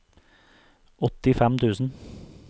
åttifem tusen